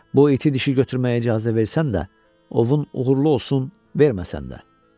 Bu iti dişi götürməyə icazə versən də, ovun uğurlu olsun, verməsən də.